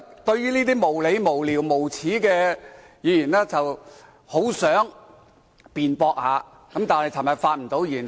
對於這些無理、無聊、無耻的論點，我很想作出辯駁，但昨天未有機會發言。